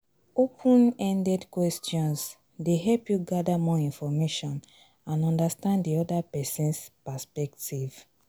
open-ended questions dey help you gather more information and understand di oda pesin's perspective.